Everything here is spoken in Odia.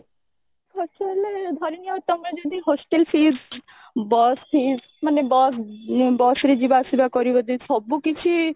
ପଚାରିଲେ ଧରିନିଅ ତମେ ଯଦି hostel fees bus fees ମାନେ bus bus ରେ ଯିବା ଆସିବା କରିବ ଯଦି ସବୁକିଛି